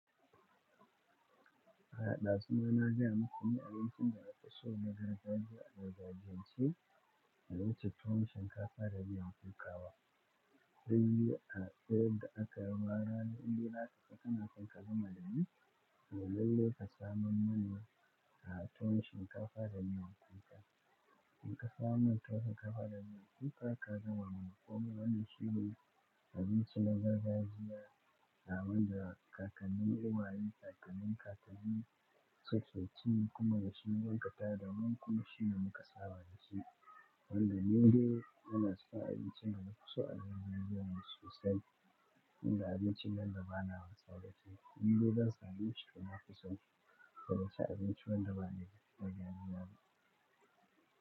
A ɗa zu ma na gayamuku ni abincin da nake so na gargajiya a gargajiyance bai wuce tuwon shinkafa da miyan kuka. Sai a tsigida aka yi warare inda Laka ta kanakan kama da ni, sai lalle ka samu mana a ton shinkafa da miyan kuka. In ka samu tuwon shinkafa da miyan kuka, ka gama kuma wani shiri na bin su na gargajiya na wanda kakanni, uwaye, kakannin kakanni sukeci kuma da shi suka tada, kuma shi ne muka saba da shi. Wanda ni dai yana suka abincin da na fi so a cikin cikin su sani. Inda abincin nan da ba na saurace, ni dai zan samu shi da na fi so da na ci abinci wanda ba ne a cikin gargajiya ba.